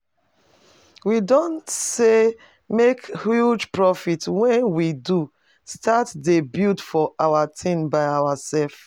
We don sey make huge profit when we don start dey build our things by ourselves